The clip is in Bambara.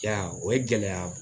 I y'a o ye gɛlɛya